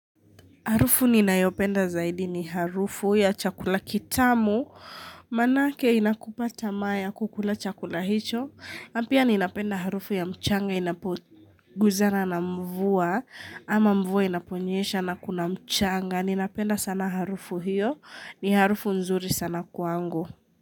Harufu ninayopenda zaidi ni harufu ya chakula kitamu, manake inakupa tamaa ya kukula chakula hicho, na pia ninapenda harufu ya mchanga, inapoguzana na mvua, ama mvua inaponyesha na kuna mchanga, ninapenda sana harufu hiyo, ni harufu nzuri sana kwangu.